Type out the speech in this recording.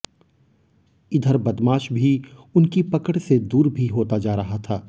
इधर बदमाश भी उनकी पकड़ से दूर भी होता जा रहा था